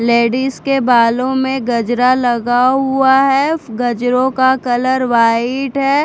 Ladies के बालो में गजरा लगा हुआ है गजरो का कलर वाइट है।